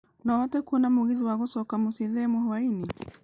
no ũhote kũona mũgithi wa gũcoka mũciĩ thaa ĩmwe hwaĩinĩ